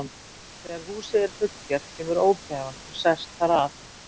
Þegar húsið er fullgert kemur ógæfan og sest þar að.